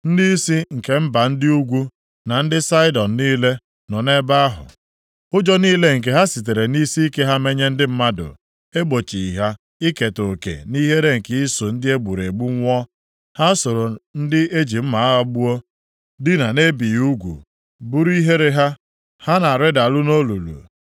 “Ndịisi nke mba ndị ugwu, na ndị Saịdọn niile nọ nʼebe ahụ. Ụjọ niile nke ha sitere nʼisiike ha menye ndị mmadụ egbochighị ha iketa oke nʼihere nke iso ndị e gburu egbu nwụọ. Ha soro ndị eji mma agha gbuo dinaa na-ebighị ugwu, buru ihere ha, ha na-arịdaru nʼolulu.